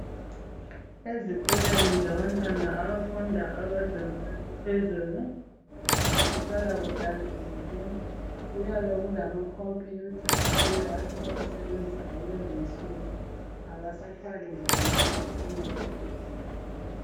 ezikolweni zabantwana abafunda abezinga eliphezulu kuhlala kuhlanzekile kuyabe kulama computer ayiwo asebawasebenzisa kulezi insuku abasathwali nzima ngokusebenzisa izinto zabo